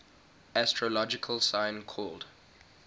astrological sign called